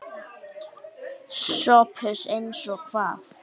SOPHUS: Eins og hvað?